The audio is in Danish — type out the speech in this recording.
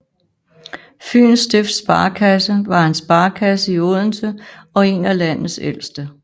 Fyens Stifts Sparekasse var en sparekasse i Odense og en af landets ældste